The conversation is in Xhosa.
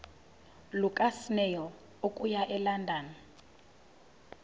lukasnail okuya elondon